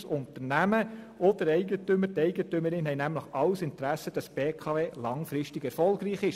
Das Unternehmen und der Eigentümer haben langfristig Interesse daran, dass die BKW erfolgreich ist.